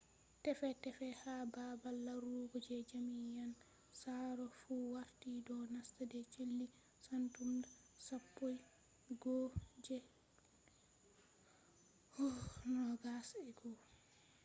tefe tefe ha baabal larugo je jamian tsaro fu warti do nasta de sali satumba 11 je 2001